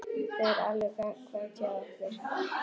Það er alveg gagnkvæmt hjá okkur.